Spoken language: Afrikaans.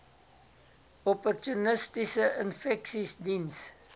opportunistiese infeksies diens